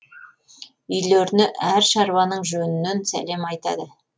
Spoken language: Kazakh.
үйлеріне әр шаруаның жөнінен сәлем айтады